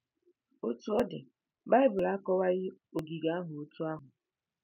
Otú ọ dị, Bible akọwaghị ogige ahụ otú ahụ.